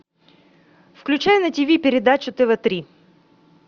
включай на тв передачу тв три